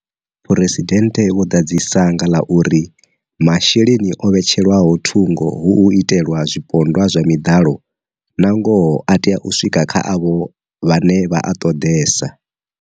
Phresidennde vho ḓadzisa nga ḽa uri masheleni o vhetshelwaho thungo hu u itelwa zwipondwa zwa miḓalo, nangoho a tea u swika kha avho vhane vha a ṱoḓesa.